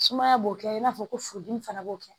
Sumaya b'o kɛ i n'a fɔ ko furudimi fana b'o kɛ